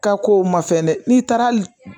Ka kow ma fɛn dɛ n'i taara hali